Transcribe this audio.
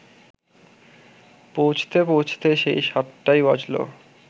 পৌঁছতে পৌঁছতে সেই সাতটাই বাজল